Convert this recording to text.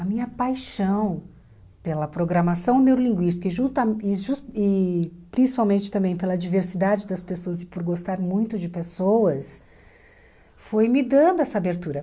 A minha paixão pela programação neurolinguística que junta e jus e principalmente também pela diversidade das pessoas e por gostar muito de pessoas, foi me dando essa abertura.